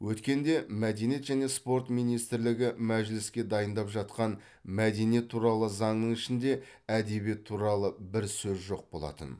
өткенде мәдениет және спорт министрлігі мәжіліске дайындап жатқан мәдениет туралы заңның ішінде әдебиет туралы бір сөз жоқ болатын